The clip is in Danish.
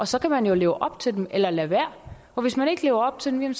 så kan man jo leve op til dem eller lade være og hvis man ikke lever op til dem